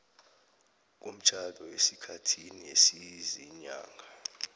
komtjhado esikhathini esiziinyanga